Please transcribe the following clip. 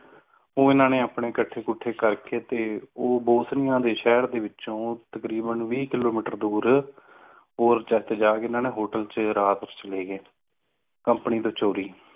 ਉਹਨਾਂ ਨੇ ਆਪਣੇ ਇਕੱਠੇ ਕਰਕੇ ਤੇ ਉਹ ਬਹੁਤਿਆਂ ਦੇ ਸ਼ਹਿਰ ਦੇ ਵਿੱਚੋਂ ਤਕਰੀਬਨ ਬੀਸ kilometer ਦੂਰ ਹੋਰ ਜਗ੍ਹਾ ਤੇ ਜਾ hotel ਤੇ ਰਾਤ ਵਿਚ ਰਹੇ company ਤੋਂ ਚੋਰੀ